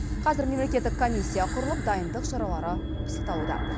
қазір мемлекеттік комиссия құрылып дайындық шаралары пысықталуда